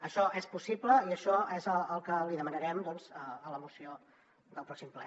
això és possible i això és el que li demanarem a la moció del pròxim ple